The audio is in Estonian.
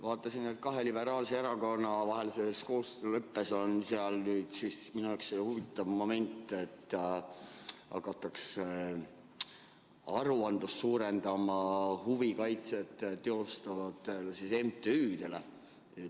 Vaatasin, et kahe liberaalse erakonna vahelises koostööleppes on sees minu jaoks huvitav moment, et hakatakse nõudma enam aruandeid teatud huvide kaitset teostavatelt MTÜ-delt.